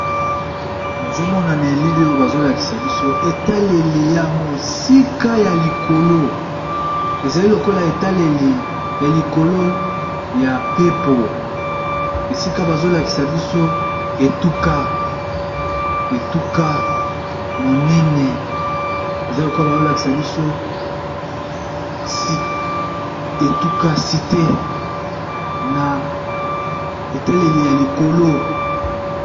Nazomona na elili oyo bazolakisa biso etaleli yamosika yalikolo ezali lokola etaleli yalikolo ya pepo esika bazolakisa biso etuka etuka monene cite naetaleli yalikolo